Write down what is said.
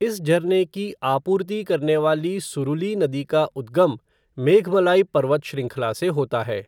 इस झरने की आपूर्ति करने वाली सुरुली नदी का उद्गम मेघमलाई पर्वत श्रृंखला से होता है।